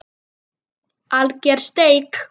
Alger steik.